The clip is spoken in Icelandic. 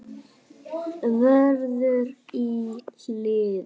Vörður í hliðið.